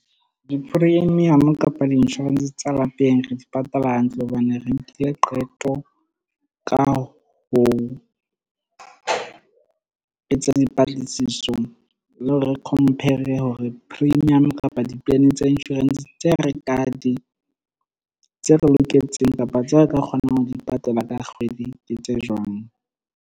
Di-premium kapa di-insurance tsa lapeng, re di patala hantle hobane re nkile qeto ka ho etsa dipatlisiso, le hore re compare hore premium kapa di-plan tsa insurance tse tse re loketseng kapa tseo re ka kgonang ho di patala ka kgwedi, ke tse jwang.